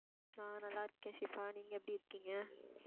நான் நல்லா இருக்கேன் ஷிபா நீங்க எப்படி இருக்கீங்க?